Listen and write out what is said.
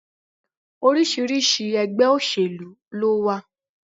Oríṣiríṣi ẹgbẹ́ òsèlú lówà.